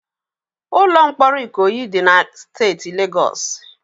Ụlọ mkpọrọ Ikoyi dị na steeti Legọọsị.